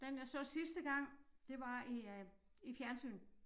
Den jeg så sidste gang det var i øh i fjernsynet